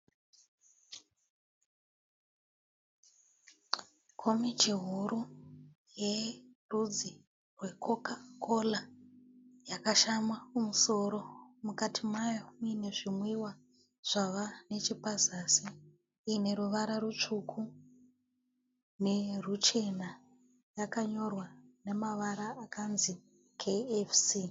Komichi huru yerudzi rwekokakora yakashama kumusoro, mukati mayo muine zvimwiwa zvava neche pazasi, iyine ruvara rutsvuku neruchena yakanyorwa nemavara akanzi "KFC".